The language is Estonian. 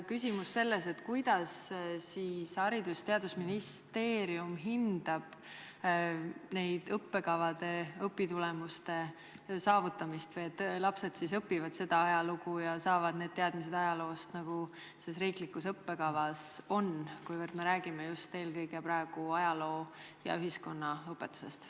Küsimus on selles, kuidas siis Haridus- ja Teadusministeerium hindab nende õppekavade õpitulemuste saavutamist või seda, et lapsed siis õpivad ajalugu ja saavad sellised teadmised ajaloost, nagu riiklikus õppekavas on, kuivõrd me räägime just eelkõige praegu ajaloo- ja ühiskonnaõpetusest.